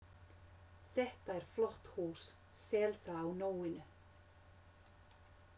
Þetta er flott hús, sel það á nóinu